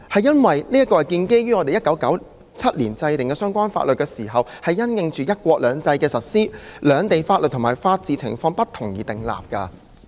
這項規定是我們在1997年制訂相關法律時，因應"一國兩制"的實施、兩地法律和法治情況不同而訂立的。